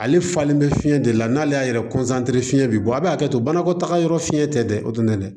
Ale falen bɛ fiɲɛ de la n'ale y'a yɛrɛ fiyɛn bɛ bɔ a bɛ hakɛ to banakɔtaga yɔrɔ fiɲɛ tɛ dɛ o tɛ na dɛ